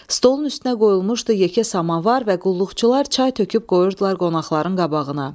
Stolun üstünə qoyulmuşdu yekə samovar və qulluqçular çay töküb qoyurdular qonaqların qabağına.